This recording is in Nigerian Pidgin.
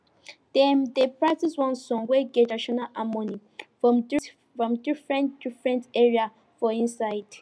dem dey practice one song wey get traditional harmony from different from different different area for inside